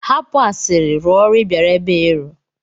Hapụ asịrị rụọ ọrụ ị bịara ebe a ịrụ!